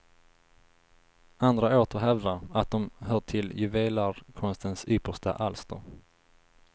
Andra åter hävdar, att de hör till juvelerarkonstens yppersta alster.